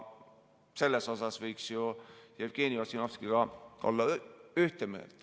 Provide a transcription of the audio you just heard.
Selles osas võiks ju Jevgeni Ossinovskiga olla ühte meelt.